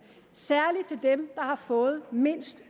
særlig til dem har fået mindst